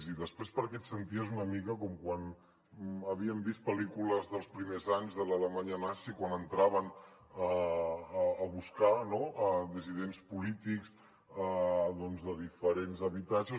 i després perquè et senties una mica com quan havíem vist pel·lícules dels primers anys de l’alemanya nazi quan entraven a buscar dissidents polítics de diferents habitatges